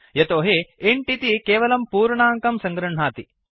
यतोहि इन्ट् इति केवलं पूर्णाङ्कं सङ्गृह्णाति